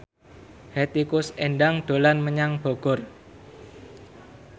Hetty Koes Endang dolan menyang Bogor